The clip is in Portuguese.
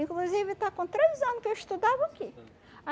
Inclusive está com três ano que eu estudava aqui.